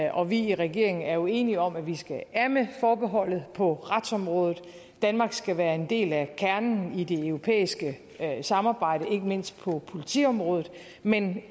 og vi i regeringen er jo enige om at vi skal af med forbeholdet på retsområdet danmark skal være en del af kernen i det europæiske samarbejde ikke mindst på politiområdet men